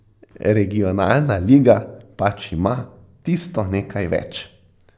Regionalna liga pač ima tisto nekaj več.